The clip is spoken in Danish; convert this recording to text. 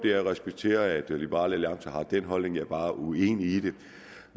jeg respekterer at liberal alliance har den holdning jeg er bare uenig i